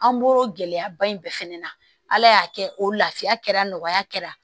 An bɔro gɛlɛya ba in bɛɛ fɛnɛ na ala y'a kɛ o lafiya kɛra nɔgɔya kɛra